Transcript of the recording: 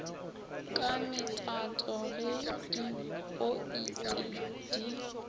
ka metato ge dipointe di